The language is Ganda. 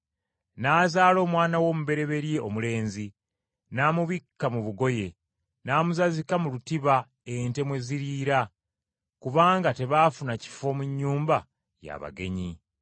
N’azaala omwana we omubereberye omulenzi, n’amubikka mu bugoye, n’amuzazika mu lutiba ente mwe ziriira, kubanga tebaafuna kifo mu nnyumba y’abagenyi.